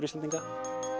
Íslendinga